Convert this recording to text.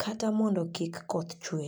kata mondo kik koth chue.